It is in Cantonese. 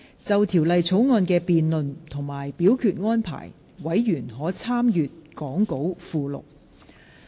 就條例草案的辯論及表決安排，委員可參閱講稿附錄。